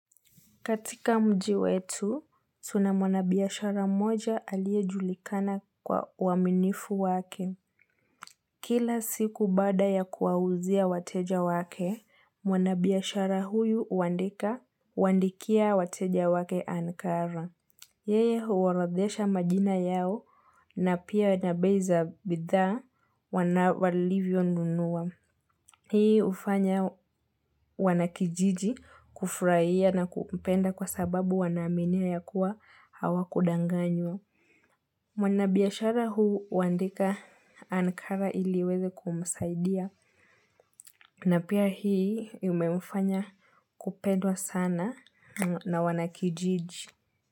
Katika mji wetu, tuna mwanabiashara moja aliyejulikana kwa uaminifu wake. Kila siku baada ya kuawuzia wateja wake, mwanabiashara huyu huandika huwaandikia wateja wake Ankara. Yeye huorodhesha majina yao na pia na bei za bidhaa wana walivyonunua. Hii hufanya wanakijiji kufurahia na kupenda kwa sababu wanaaminia ya kuwa hawa kudanganywa. Mwana biashara huyu huandika Ankara ili iweze kumsaidia. Na pia hii imemfanya kupendwa sana na wanakijiji.